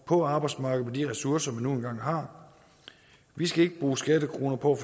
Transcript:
på arbejdsmarkedet med de ressourcer man nu engang har vi skal ikke bruge skattekroner på